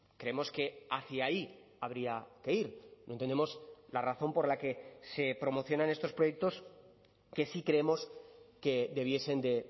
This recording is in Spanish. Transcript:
creemos que hacia ahí habría que ir no entendemos la razón por la que se promocionan estos proyectos que sí creemos que debiesen de